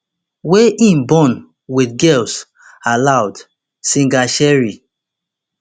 wey im born wit girls aloud singer cheryl